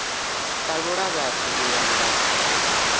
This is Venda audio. talula vhathu u ya nga